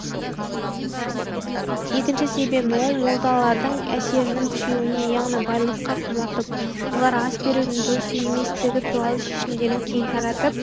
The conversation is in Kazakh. екінші себебін ол молдалардың әсерінің күшеюінен яғни байлыққа құмартып олар ас берудің дұрыс еместігі туралы шешімдерін кең таратып